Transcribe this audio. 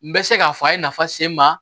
N bɛ se k'a fɔ a ye nafa se n ma